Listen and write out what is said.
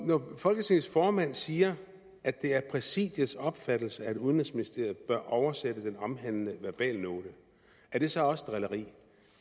når folketingets formand siger at det er præsidiets opfattelse at udenrigsministeriet bør oversætte den omhandlede verbalnote er det så også drilleri